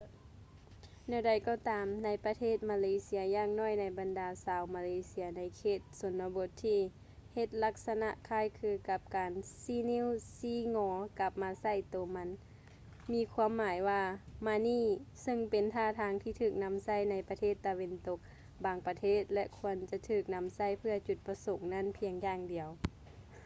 ແນວໃດກໍຕາມ ໃນປະເທດມາເລເຊຍຢ່າງໜ້ອຍໃນບັນດາຊາວມາເລເຊຍໃນເຂດຊົນນະບົດທີ່ເຮັດລັກສະນະຄ້າຍຄືກັບການຊີ້ນິ້ວຊີ້ງໍກັບມາໃສ່ໂຕມັນມີຄວາມໝາຍວ່າ ມານີ້ ເຊິ່ງເປັນທ່າທາງທີ່ຖືກນຳໃຊ້ໃນປະເທດຕາເວັນຕົກບາງປະເທດ ແລະ ຄວນຈະຖືກນຳໃຊ້ເພື່ອຈຸດປະສົງນັ້ນພຽງຢ່າງດຽວ